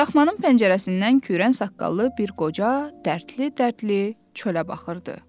Daxmanın pəncərəsindən kürən saqqallı bir qoca dərdli-dərdli çölə baxırdı.